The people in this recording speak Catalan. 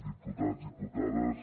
diputats diputades